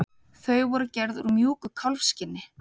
Þau voru gerð úr mjúku kálfskinni.